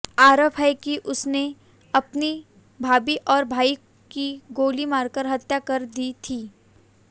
आरोप है कि उसने अपनी भाभी और भाई की गोली मारकर हत्या कर दी थी